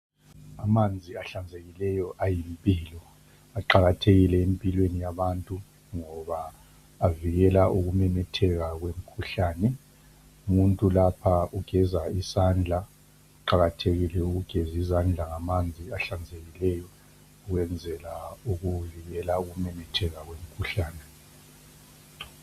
Amanzi ahlanzekile ayimpilo. Aqakathekile empilweni yabantu ngoba avikele ukumemetheka kwemkhuhlane. Umuntu lapha ugeza isandla, kuqakathekile ukugeza izandla ngamanzi ahlanzekileyo. Ukwenzela ukuvikela ukumemetheka kwemkhuhlane.